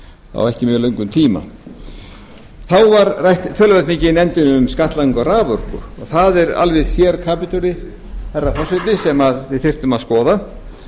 á ekki mjög löngum tíma þá var rætt töluvert mikið í nefndinni um skattlagningu á raforku og það er alveg sérkapítuli herra forseti sem við þyrftum að skoða